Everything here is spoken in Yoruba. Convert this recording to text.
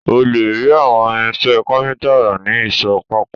Ó lè rí àwọn irinṣẹ́ kápíntà rà ní ìsọ̀ pákó